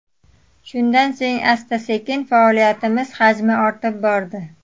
Shundan so‘ng asta-sekin faoliyatimiz hajmi ortib bordi.